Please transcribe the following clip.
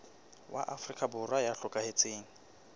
wa afrika borwa ya hlokahetseng